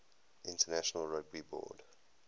international rugby board